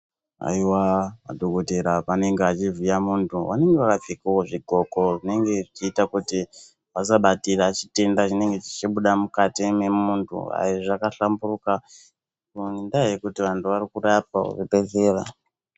Haiwa madhokodheya pavanenge veivhiya muntu vanenge vakapfekawo zvidhloko zvinenge zvichiita kuti vasabatire chitenda chinenge chichibuda mukati mwemunhu aiizvizvakhlamburuka ngendaya yekuti anhu arikurapwa kuzvibhehleya.